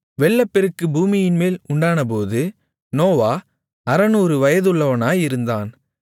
வெள்ளப்பெருக்கு பூமியின்மேல் உண்டானபோது நோவா 600 வயதுள்ளவனாயிருந்தான்